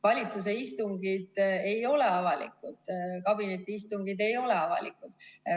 Valitsuse istungid ei ole avalikud, kabinetiistungid ei ole avalikud.